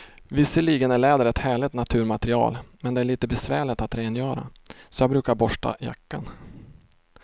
Visserligen är läder ett härligt naturmaterial, men det är lite besvärligt att rengöra, så jag brukar borsta jackan.